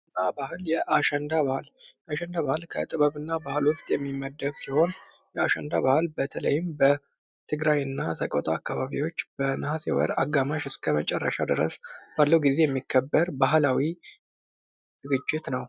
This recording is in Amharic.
የአሸንዳ በዓል ከጥበብና ባህል ውስጥ የሚመደብ ሲሆን በተለይም በትግራይና ሰቆጣ አካባቢ በነሀሴ ወር አጋማሽ እስከ መጨረሻ ጊዜ የሚከበር ባህላዊ ዝግጅት ነው ።